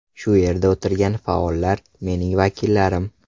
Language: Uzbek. Shu yerda o‘tirgan faollar, mening vakillarim.